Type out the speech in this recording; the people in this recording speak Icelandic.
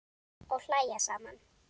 Og hlæja saman.